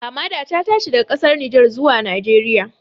Hamada ta tashi daga ƙasar Nijar zuwa Najeriya